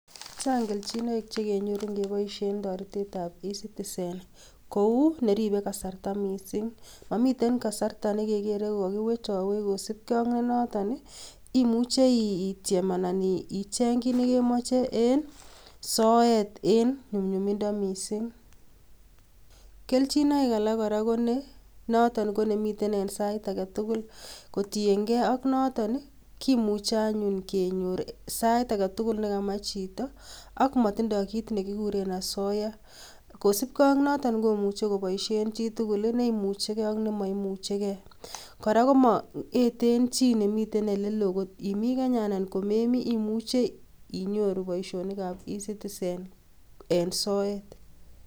Chang kelchinoek chekenyoru ngepoisien toretet ap ecitizen kou neripei kasarta mising mamiten kasarta nekekerei kokakiwechawech kosupkei ak noton imuchei ityem ana icheny kiy nikemache en soet en nyumnyumindo mising. Keljinoik alak kora noton ko nemiten ensait aketugul kotiengei ak noton kimuchei anyun kenyor sait ake tugul nekamach chito ak motindoi kit nekikuren asoya kosupkei ak noton komuchei koboisie chitugul neimuchigei ak nemaimuchigei, kora komaeten chi nemiten olelo, imi Kenya ana komemi imucheii inyoru boisietap ecitizen en soet